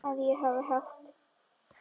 Að ég hafi átt.?